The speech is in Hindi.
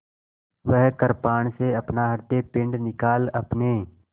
वह कृपाण से अपना हृदयपिंड निकाल अपने